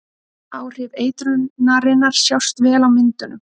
áhrif eitrunarinnar sjást vel á myndunum